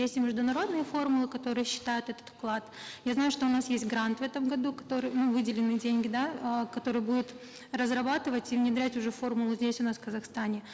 есть и международные формулы которые считают этот вклад я знаю что у нас есть грант в этом году который ну выделенные деньги да э которые будут разрабатывать и внедрять уже формулы здесь у нас в казахстане